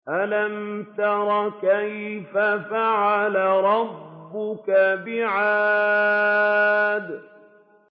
أَلَمْ تَرَ كَيْفَ فَعَلَ رَبُّكَ بِعَادٍ